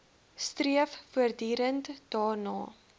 streef voortdurend daarna